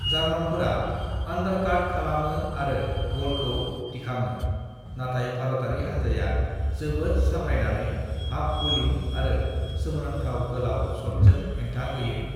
"जार्मानफोरा undercut खालामो आरो बलखौ दिखाङो, नाथाइ भारतयारि हान्जाया जोबोद समायनायै हाफ-बलीइं आरो सोमोनांथाव गोलाव शट्सजों हेंथा होयो।"